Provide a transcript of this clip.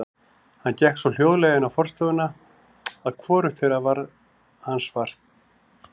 Hann gekk svo hljóðlega inn í forstofuna að hvorugt þeirra varð hans var.